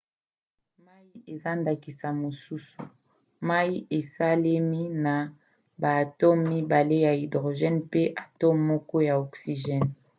mai eza ndakisa mosusu. mai esalemi na baatome mibale ya hydrgene mpe atome moko ya oxygene